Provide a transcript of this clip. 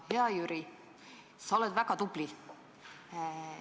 Hea Jüri, sa oled väga tubli.